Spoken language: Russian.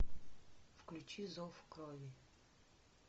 включи зов крови